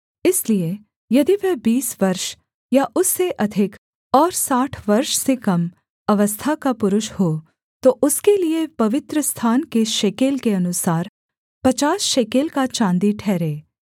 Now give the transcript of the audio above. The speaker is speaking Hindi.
इसलिए यदि वह बीस वर्ष या उससे अधिक और साठ वर्ष से कम अवस्था का पुरुष हो तो उसके लिये पवित्रस्थान के शेकेल के अनुसार पचास शेकेल का चाँदी ठहरे